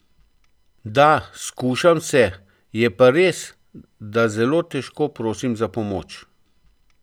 Da, skušam se, je pa res, da zelo težko prosim za pomoč.